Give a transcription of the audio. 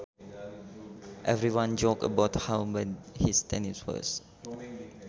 Everyone joked about how bad his tennis was